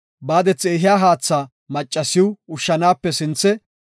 Qangethi ehiya haatha maccasiw ushshanaape sinthe,